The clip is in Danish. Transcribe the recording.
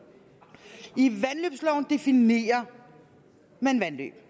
i vandløbsloven definerer man vandløb